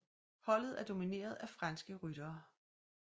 Holdet er domineret af franske ryttere